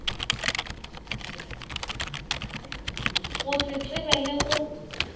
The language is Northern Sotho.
go se tseba le go